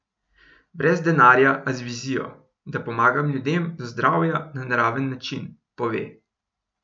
Brez denarja, a z vizijo: "Da pomagam ljudem do zdravja na naraven način," pove.